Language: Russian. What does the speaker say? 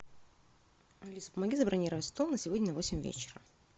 алиса помоги забронировать стол на сегодня на восемь вечера